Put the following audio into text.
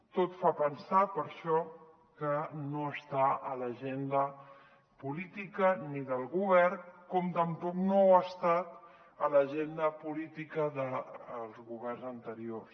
tot fa pensar per això que no està a l’agenda política del govern com tampoc no ha es·tat a l’agenda política dels governs anteriors